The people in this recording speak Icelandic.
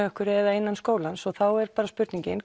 eða innan veggja skólans þá er bara spurningin